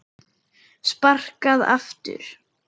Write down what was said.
Sparkað aftur.